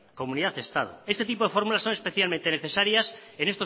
comunidad estado ese tipo de fórmulas son especialmente necesarias en